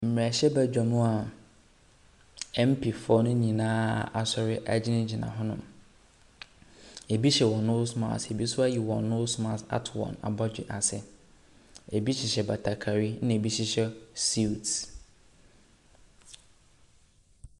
Mmerahyɛbedwa mu a MPfoɔ no nyinaa asɔre egyinagyina hɔ nom. Ebi hyɛ wɔn nose mask, ebi nso ɛyi wɔn nose mask ato wɔn abɔdwe ase. Ebi hyehyɛ batakari, ɛna ebi hyehyɛ suit.